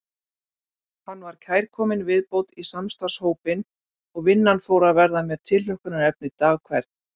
Hann var kærkomin viðbót í samstarfshópinn og vinnan fór að verða mér tilhlökkunarefni dag hvern.